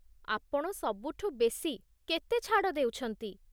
ଆପଣ ସବୁଠୁ ବେଶି କେତେ ଛାଡ଼ ଦେଉଛନ୍ତି?